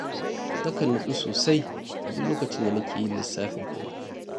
Nakan nutsu sosai a duk lokacin da nake yin lissafin kuɗi